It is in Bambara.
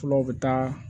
Filaw bɛ taa